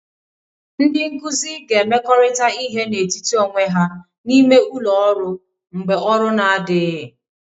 Ndị nkuzi ga-emekọrịta ihe n'etiti onwe ha n'ime ụlọ ọrụ mgbe ọrụ na-adịghị